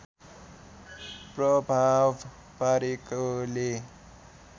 प्रभाव पारेकोले